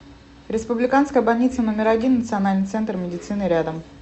республиканская больница номер один национальный центр медицины рядом